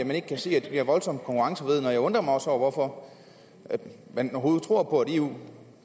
man ikke kan se at det er voldsomt konkurrenceforvridende jeg undrer mig også over hvorfor man overhovedet tror på at eu